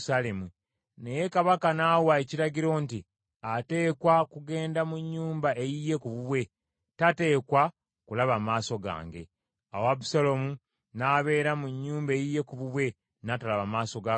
Naye kabaka n’awa ekiragiro nti, “Ateekwa kugenda mu nnyumba eyiye ku bubwe, tateekwa kulaba maaso gange.” Awo Abusaalomu n’abeera mu nnyumba eyiye ku bubwe, n’atalaba maaso ga kabaka.